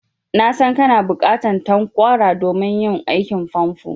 Na san kana buƙatan tanƙwara domin yin aikin famfo.